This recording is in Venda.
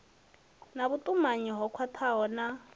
na vhutumanyi ho khwathaho na